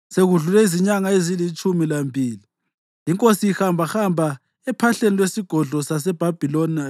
Sekudlule izinyanga ezilitshumi lambili, inkosi ihambahamba ephahleni lwesigodlo saseBhabhiloni,